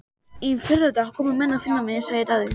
Í fyrradag komu menn að finna mig, sagði Daði.